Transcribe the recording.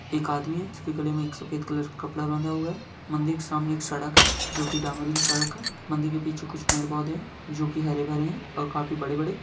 एक आदमी है जिसके गले में एक सफ़ेद कलर का कपड़ा बंधा हुआ है मंदिर के सामने एक सड़क है जो की डामरिंग सड़क है मंदिर के पीछे कुछ पेड़-पौधे है जो की हरे-भरे है और काफी बड़े-बड़े।